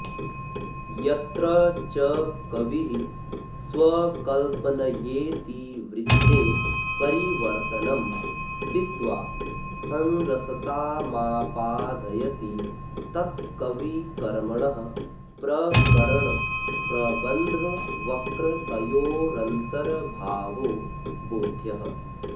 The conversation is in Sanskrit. यत्र च कविः स्वकल्पनयेतिवृत्तेपरिवर्तनं कृत्वा संरसतामापादयति तत्कविकर्मणः प्रकरणप्रबन्धवक्रतयोरन्तर्भावो बोध्यः